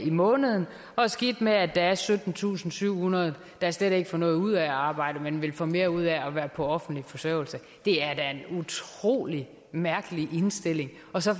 måneden og skidt med at der er syttentusinde og syvhundrede der slet ikke får noget ud af at arbejde men vil få mere ud af at være på offentlig forsørgelse det er da en utrolig mærkelig indstilling og så